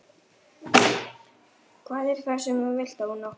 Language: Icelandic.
Hvað er það sem þú vilt ónáttúran þín?